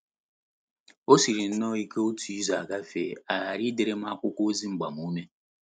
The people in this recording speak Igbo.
O siri nnọọ ike otu izu agafee ya aghara idere m akwụkwọ ozi agbamume.